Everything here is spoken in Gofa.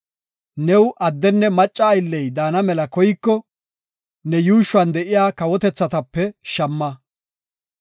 New addenne macca aylley daana mela koyiko, ne yuushuwan de7iya kawotethatape shamma.